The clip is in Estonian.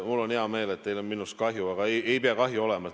Mul on hea meel, et teil on minust kahju, aga ei pea kahju olema.